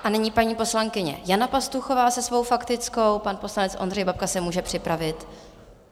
A nyní paní poslankyně Jana Pastuchová se svou faktickou, pan poslanec Ondřej Babka se může připravit.